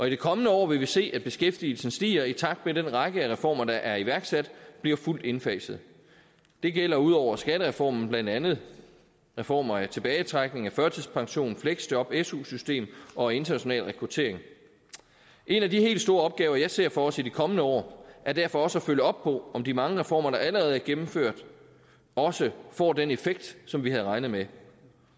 i de kommende år vil vi se at beskæftigelsen stiger i takt med at den række af reformer der er iværksat bliver fuldt indfaset det gælder udover skattereformen blandt andet reformer af tilbagetrækning førtidspension fleksjob su system og international rekruttering en af de helt store opgaver jeg ser for os i de kommende år er derfor også at følge op på om de mange reformer der allerede er gennemført også får den effekt som vi havde regnet med